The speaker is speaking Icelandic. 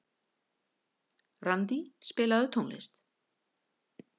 Randí, spilaðu tónlist.